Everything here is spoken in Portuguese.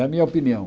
Da minha opinião.